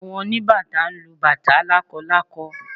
Àwọn oníbàtá ń lu bàtá lákọlákọ